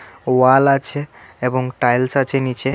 ওয়াল আছে এবং টাইলস আছে নীচে.